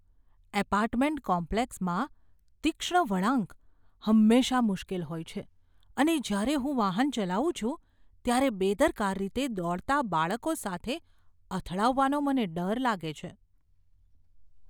Apartment કોમ્પ્લેક્સમાં તીક્ષ્ણ વળાંક હંમેશા મુશ્કેલ હોય છે અને જ્યારે હું વાહન ચલાવું છું ત્યારે બેદરકાર રીતે દોડતા બાળકો સાથે અથડાવાનો મને ડર લાગે છે.